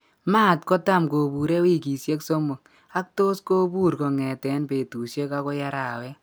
Maat kotam kobure wikisiek somok ak tos kobur kongeten betusiek akoi arawet.